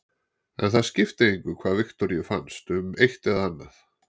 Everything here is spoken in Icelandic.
En það skipti engu hvað Viktoríu fannst um eitt eða annað.